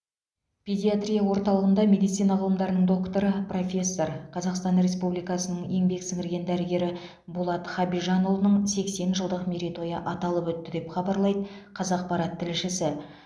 педиатрия орталығында медицина ғылымдарының докторы профессор қазақстан республикасының еңбек сіңірген дәрігері болат хабижанұлының сексен жылдық мерейтойы аталып өтті деп хабарлайды қазақпарат тілшісі